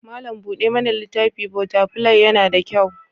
Malam buɗe mana littafi/botafilai yana da kyau.